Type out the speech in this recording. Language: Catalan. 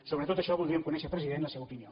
sobre tot això voldríem conèixer president la seva opinió